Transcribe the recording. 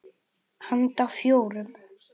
Handa fjórum